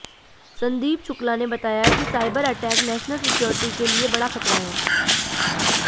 संदीप शुक्ला ने बताया कि साइबर अटैक नेशनल सिक्योरिटी के लिए बड़ा खतरा है